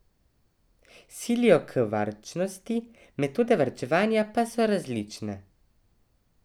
Silijo k varčnosti, metode varčevanja pa so različne.